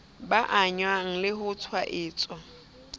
ba angwang le ho tshwaetswa